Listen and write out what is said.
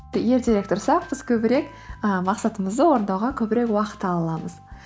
ертерек тұрсақ біз көбірек і мақсатымызды орындауға көбірек уақыт ала аламыз